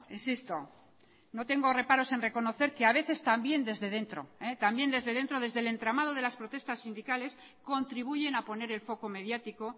insisto no tengo reparos en reconocer que a veces también desde dentro también desde dentro desde el entramado de las protestas sindicales contribuyen a poner el foco mediático